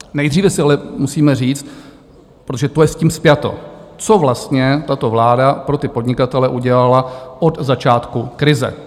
Nejdříve si ale musíme říct, protože to je s tím spjato, co vlastně tato vláda pro ty podnikatele udělala od začátku krize.